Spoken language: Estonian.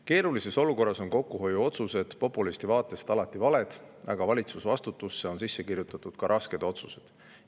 Keerulises olukorras on kokkuhoiuotsused populisti vaatest alati valed, aga valitsusvastutusse on sisse kirjutatud ka rasked otsused.